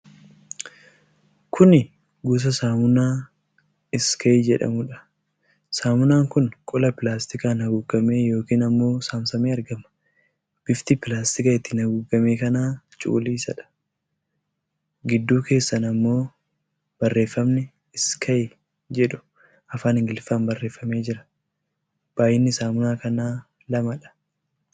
Kuni gosa saamunaa Iskaayi jedhamuudha. Saamunaan kun qola pilaastikaan haguugamee yookiin ammoo saamsamee argama. Bifti pilaastika ittiin haguugamee kanaa cuquliisadha. Gidduu keessaan ammoo barreefamni "Iskaayi" jedhu afaan Ingiliffaan barreeffamee jira. Baay'inni saamunaa kanaa lamadha.